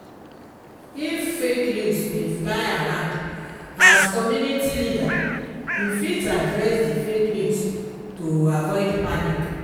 if fake news dey fly around as community leader you fit address di fake news to avoid panic